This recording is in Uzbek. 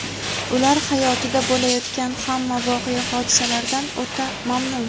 ular hayotida bo‘layotgan hamma voqea-hodisalardan o‘ta mamnun.